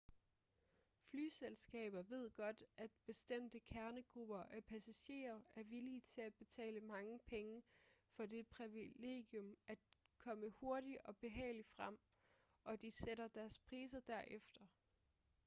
flyselskaber ved godt at bestemte kernegrupper af passagerer er villige til at betale mange penge for det privilegium at komme hurtigt og behageligt frem og de sætter deres priser derefter